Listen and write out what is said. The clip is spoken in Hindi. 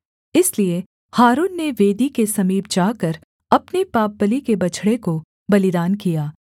इसलिए हारून ने वेदी के समीप जाकर अपने पापबलि के बछड़े को बलिदान किया